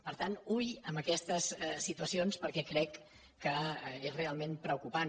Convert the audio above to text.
per tant ull amb aquestes situacions perquè crec que és realment preocupant